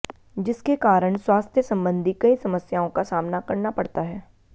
जिसके कारण स्वास्थ्य संबंधी कई समस्याओं का सामना करना पड़ता है